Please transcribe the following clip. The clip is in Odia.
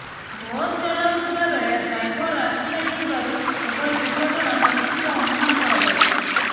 ବସ୍ ଚଲାଉଥିବାବେଳେ ଡ୍ରାଇଭରର ଆଖି ଲାଗିଯିବାରୁ ଏଭଳି ଦୁର୍ଘଟଣା ଘଟିଥିବା ଅନୁମାନ କରାଯାଉଛି